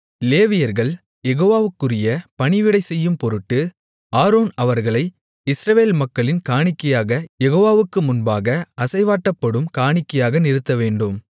லேவியர்கள் யெகோவாவுக்குரிய பணிவிடை செய்யும்பொருட்டு ஆரோன் அவர்களை இஸ்ரவேல் மக்களின் காணிக்கையாகக் யெகோவாவுக்கு முன்பாக அசைவாட்டப்படும் காணிக்கையாக நிறுத்தவேண்டும்